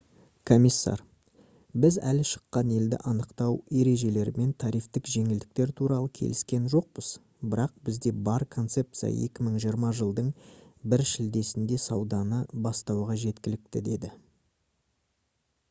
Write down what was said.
комиссар: «біз әлі шыққан елді анықтау ережелері мен тарифтік жеңілдіктер туралы келіскен жоқпыз бірақ бізде бар концепция 2020 жылдың 1 шілдесінде сауданы бастауға жеткілікті» - деді